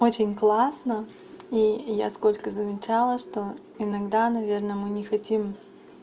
очень классно и я сколько замечала что иногда наверное мы не хотим